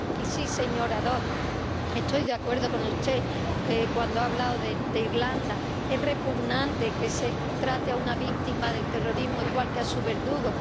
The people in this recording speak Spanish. Y sí, señora Dodds, estoy de acuerdo con usted cuando ha hablado de Irlanda es repugnante que se trate a una víctima de terrorismo igual que a su verdugo.